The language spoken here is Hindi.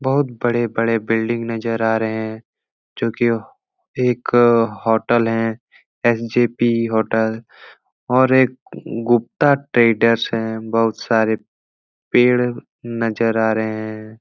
बहोत बड़े-बड़े बिल्डिंग नजर आ रहे हैं जोकि एक होटल है एस जे पी होटल और एक गुप्ता ट्रेडर्स है। बहोत सारे पेड़ नजर आ रहे हैं।